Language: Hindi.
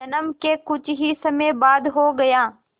जन्म के कुछ ही समय बाद हो गया